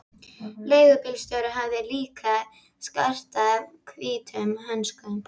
Leigubílstjórinn hafði líka skartað hvítum hönskum.